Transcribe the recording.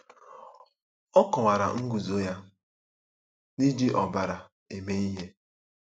Ọ kọwara nguzo ya n'iji ọbara eme ihe.